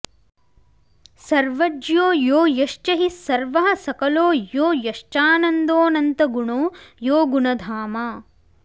सर्वज्ञो यो यश्च हि सर्वः सकलो यो यश्चानन्दोऽनन्तगुणो यो गुणधामा